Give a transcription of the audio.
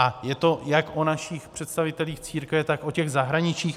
A je to jak o našich představitelích církve, tak o těch zahraničních.